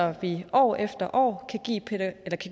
at vi år efter år kan give